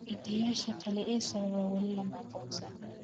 Hidde-yaasha kale ee sababa weli lama aqoonsan.